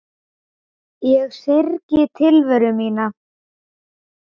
Ég syrgði tilveru mína.